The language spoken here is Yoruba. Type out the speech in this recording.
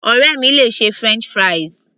Ọ̀rẹ́ mi le ṣe french fries